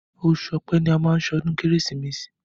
Oṣù ọpẹ́ ni a má ń ṣọdún kérésìmesì.